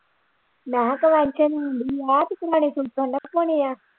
ਮੈਂ ਕਿਹਾ ਹੋਣੇ ਹੈ।